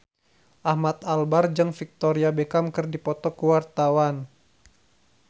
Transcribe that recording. Ahmad Albar jeung Victoria Beckham keur dipoto ku wartawan